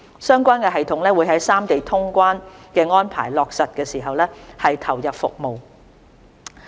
相關系統會在三地通關的安排落實時投入服務。